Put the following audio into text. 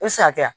E sakɛya